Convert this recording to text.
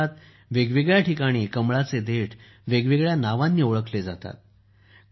देशभरात वेगवेगळ्या ठिकाणी कमळाचे देठ वेगवेगळ्या नावांनी ओळखले जातात